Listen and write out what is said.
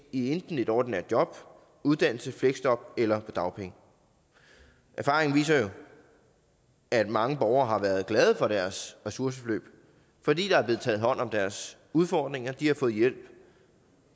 i enten et ordinært job uddannelse fleksjob eller på dagpenge erfaringen viser jo at mange borgere har været glade for deres ressourceforløb fordi der er blevet taget hånd om deres udfordringer og de har fået hjælp